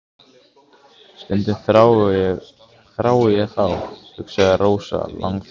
Stundum þrái ég þá, hugsaði Rósa langþjálfuð.